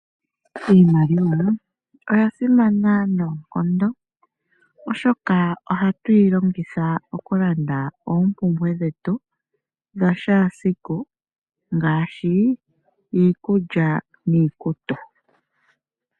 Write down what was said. Iimaliwa oya simana noonkondo, oshoka ohatu yi longitha okulanda oompumbwe dhetu dha shaasiku ngaashi iikulya niikutu.